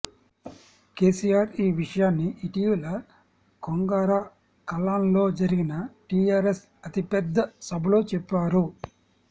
కేసీఆర్ ఈ విషయాన్ని ఇటీవల కొంగరకలాన్లో జరిగిన టీఆర్ఎస్ అతిపెద్ద సభలో చెప్పారు